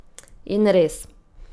In res.